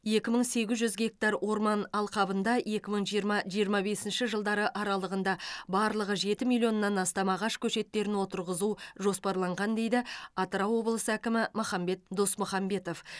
екі мың сегіз жүз гектар орман алқабында екі мың жиырма жиырма бесінші жылдары аралығында барлығы жеті миллионнан астам ағаш көшеттерін отырғызу жоспарланған дейді атырау облысы әкімі махамбет досмұхамбетов